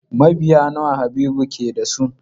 Mabiya nawa Habibu ke da su?